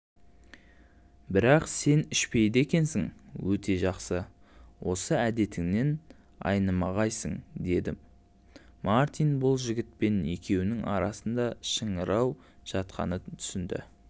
бірақ сен ішпейді екенсің өте жақсы осы әдетіңнен айнымағайсың дедімартин бұл жігітпен екеуінің арасында шыңырау жатқанын түсінді